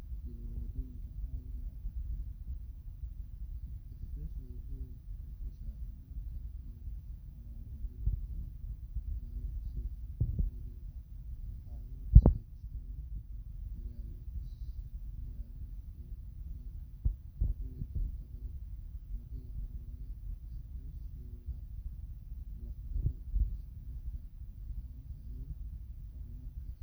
xooluhu uga gudbin si toos ah. Expressway waxaa inta badan isticmaala baabuurta xamuulka iyo rakaabka si ay u yareeyaan waqtiga safarka. Marka la barbar dhigo waddooyinka caadiga ah, expressway waxay bixisaa ammaanka iyo xawaaraha ugu badan ee suurto gal ah. Waxaa la dhisay si looga fogaado isgoysyada iyo nalalka waddooyinka. Inta badan waddamada horumaray, expressway waa laf dhabarta isku xirka dhaqaalaha iyo horumarka. Soomaaliya, inkasta oo ay weli jiraan baahi badan oo horumarin ah, haddana dadaallo ayaa socda si loo helo waddooyin tayo leh oo ay ku jiraan kuwa nooca expressway ah